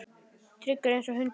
Tryggur einsog hundur.